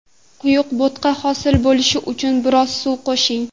Quyuq bo‘tqa hosil bo‘lishi uchun biroz suv qo‘shing.